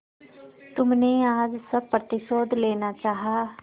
तुमने आज सब प्रतिशोध लेना चाहा